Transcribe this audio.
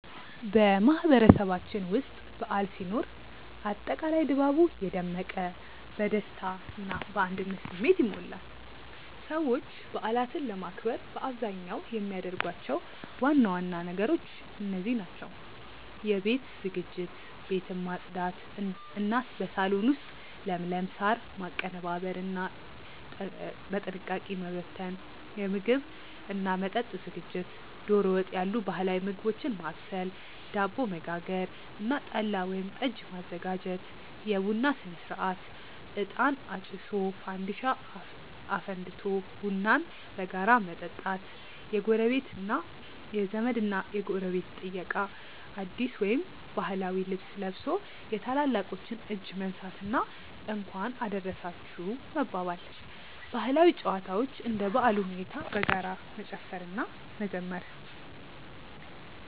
በማህበረሰባችን ውስጥ በዓል ሲኖር አጠቃላይ ድባቡ የደመቀ፣ በደስታ እና በአንድነት ስሜት ይሞላል። ሰዎች በዓላትን ለማክበር በአብዛኛው የሚያደርጓቸው ዋና ዋና ነገሮች እንደዚህ ናቸው፦ የቤት ዝግጅት፦ ቤትን ማጽዳት እና በሳሎን ውስጥ ለምለም ሳር ማቀነባበርና ጠንቀቀ መበተን። የምግብ እና መጠጥ ዝግጅት፦ ዶሮ ወጥ ያሉ ባህላዊ ምግቦችን ማብሰል፣ ዳቦ መጋገር እና ጠላ ወይም ጠጅ ማዘጋጀት። የቡና ሥነ-ሥርዓት፦ እጣን አጭሶ፣ ፋንዲሻ አፍልቆ ቡናን በጋራ መጠጣት። የዘመድ እና ጎረቤት ጥየቃ፦ አዲስ ወይም ባህላዊ ልብስ ለብሶ የታላላቆችን እጅ መንሳት እና "እንኳን አደረሳችሁ" መባባል። ባህላዊ ጨዋታዎች፦ እንደ በዓሉ ሁኔታ በጋራ መጨፈር እና መዘመር።